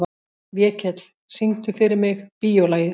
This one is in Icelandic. Vékell, syngdu fyrir mig „Bíólagið“.